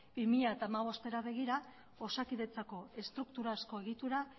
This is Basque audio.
bi mila hamabostera begira osakidetzako estrukturazko egitura